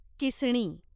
किसणी